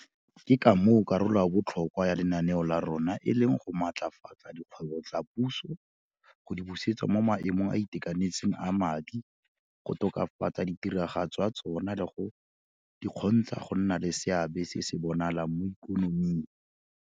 Ke ka moo karolo ya botlhokwa ya lenaneo la rona e leng go maatlafatsa dikgwebo tsa puso, go di busetsa mo maemong a a itekanetseng a madi, go tokafatsa tiragatso ya tsona le go di kgontsha go nna le seabe se se bonalang mo ikonoming.